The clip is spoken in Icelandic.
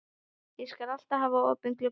Ég skal alltaf hafa opinn gluggann.